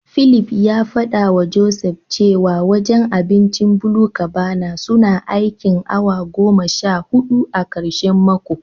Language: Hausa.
Philip ya fadawa Joseph cewa wajen abincin BluCabana suna aikin awa goma sha hudu a karshen mako.